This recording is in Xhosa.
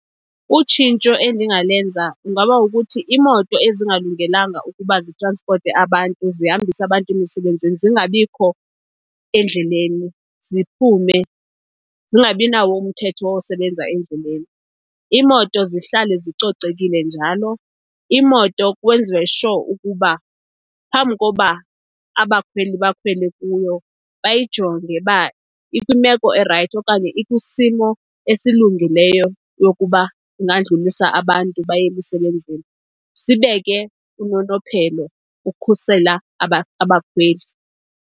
Utshintsho endingalenza kungaba kukuthi iimoto ezingalungelanga ukuba zitranspote abantu, zihambise abantu emisebenzini, zingabikho endleleni, ziphume zingabinawo umthetho wosebenza endleleni. Iimoto zihlale zicocekile njalo. Iimoto kwenziwe sure ukuba phambi koba abakhweli bakhwele kuyo bayijonge uba ikwimeko erayithi okanye ikwisimo esilungileyo yokuba ingandlulisa abantu baye emisebenzini. Sibeke unonophelo ukukhusela abakhweli.